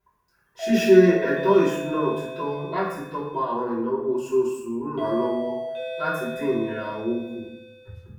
ṣíṣe ètò ìṣúná òtítọ láti tọpa àwọn ináwó oṣooṣù ń ràn lówọ láti dín ìnira owó kù